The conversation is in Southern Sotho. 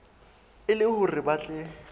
e le hore ba tle